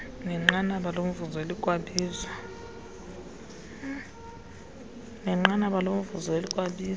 nenqanaba lomvuzo elikwabizwa